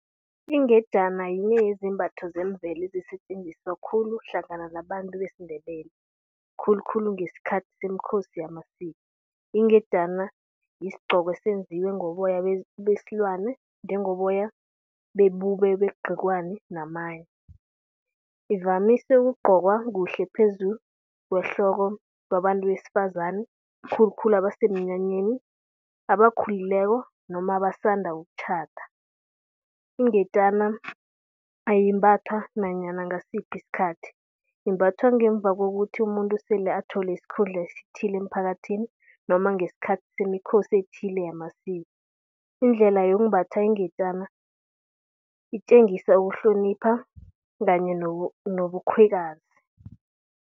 Ingejana ngile yezembatho zemvelo ezisetjenziswa khulu hlangana nabantu besiNdebele, khulukhulu ngesikhathi semiKhosi yamasiko. Ingejana yisigcoko esenziwe ngoboya besilwane njengoboya bebube begciwane namanye. Ivamise ukugcokwa kuhle phezulu kwehloko babantu besifakaze, khulukhulu abasemnyanyeni abakhulileko noma abasanda ukwenda. Ingejana ayimbathwa nanyana ngasiphi isikhathi, imbathwa ngemva kokuthi umuntu sele athole isikhundla esithile emphakathini noma ngesikhathi semikhosi ethile yamasiko. Indlela yokumbatha ingejana itjengisa ukuhlonipha kanye nobukhwekazi.